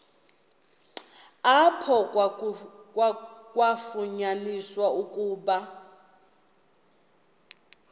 apho kwafunyaniswa ukuba